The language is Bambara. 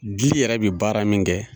Bi yɛrɛ bɛ baara min kɛ.